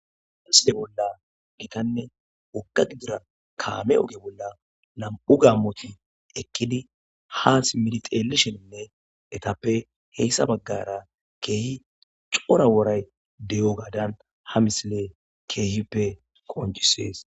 Amisile bolla gitanne wokka gidira kaame oge bolla lam7u gammoti ekkidi ha smidixeelisheninne etappe heyssa baggara keehi cora woray de7o gaadan ha misile keehippe konjisees